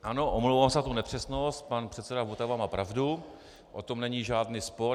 Ano, omlouvám se za tu nepřesnost, pan předseda Votava má pravdu, o tom není žádný spor.